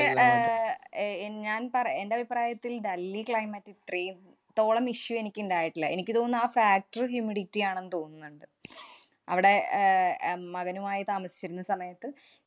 A~ എന്‍~ ഞാന്‍ പറ~ എന്‍റെ അഭിപ്രായത്തില്‍ ഡൽഹി climate ഇത്രേം തോളം issue എനിക്കുണ്ടായിട്ടില്ല. എനിക്ക് തോന്നുന്നത് ആ factor humidity ആണെന്ന് തോന്നുന്ന്ണ്ട്. അവടെ അഹ് ഏർ മകനുമായി താമസിച്ചിരുന്ന സമയത്ത്